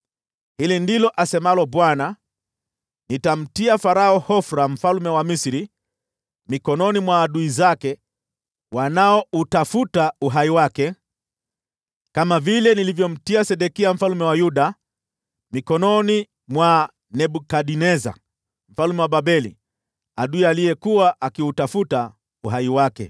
Hili ndilo asemalo Bwana : ‘Nitamtia Farao Hofra mfalme wa Misri mikononi mwa adui zake wanaoutafuta uhai wake, kama vile nilivyomtia Sedekia mfalme wa Yuda mikononi mwa Nebukadneza mfalme wa Babeli, adui aliyekuwa akiutafuta uhai wake.’ ”